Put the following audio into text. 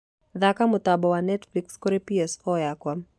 thaaka mũtambo wa netflix kũrĩ p.s four yakwa